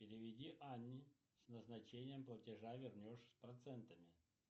переведи анне с назначением платежа вернешь с процентами